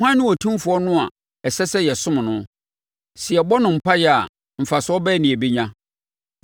Hwan ne otumfoɔ no a ɛsɛ sɛ yɛsom no? Sɛ yɛbɔ no mpaeɛ a mfasoɔ bɛn na yɛbɛnya?’